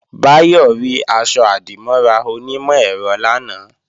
Báyọ̀ rí aṣọ-àdìmọ́ra onímọ̀-ẹ̀rọ lánàá